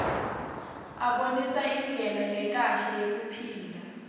abonisa indlela lekahle yekuphila